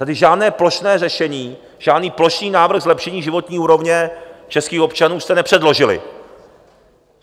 Tady žádné plošné řešení, žádný plošný návrh zlepšení životní úrovně českých občanů jste nepředložili.